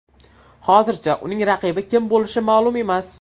Hozircha uning raqibi kim bo‘lishi ma’lum emas.